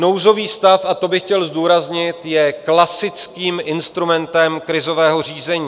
Nouzový stav, a to bych chtěl zdůraznit, je klasickým instrumentem krizového řízení.